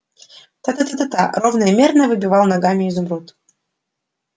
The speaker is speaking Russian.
та-та-та-та ровно и мерно выбивает ногами изумруд